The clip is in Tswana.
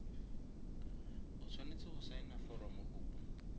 o tshwanetse go saena foromokopo